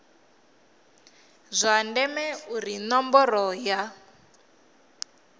zwa ndeme uri ṋomboro ya